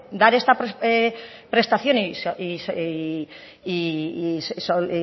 dar esta prestación y